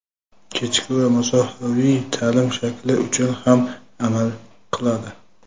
kechki va masofaviy taʼlim shakli uchun ham amal qiladi.